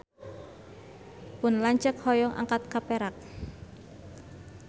Pun lanceuk hoyong angkat ka Perak